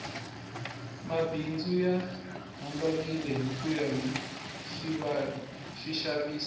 mabindzu ya hambanile hikuya hi swixavisi